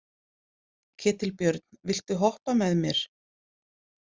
Ketilbjörn, viltu hoppa með mér?